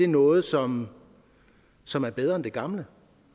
noget som som er bedre end det gamle